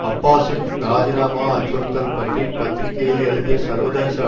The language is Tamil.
அப்பாஸின் இராஜிநாமா அச்சுறுத்தல் பற்றி பத்திரிகையில் எழுதிய சர்வதேச